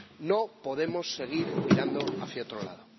No podemos seguir mirando hacia otro lado.